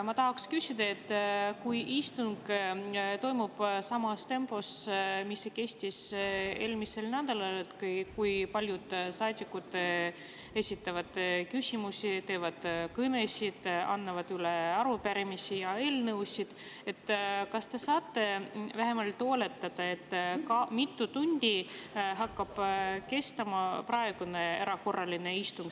Ma tahaksin küsida, et kui istung toimub samas tempos, nagu see kestis eelmisel nädalal, nii et paljud saadikud esitavad küsimusi, peavad kõnesid ning annavad üle arupärimisi ja eelnõusid, siis kas te saate vähemalt oletada, mitu tundi kestab praegune erakorraline istung.